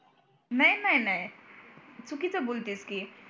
नाय नाय नाय चुकीचं बोलतेस की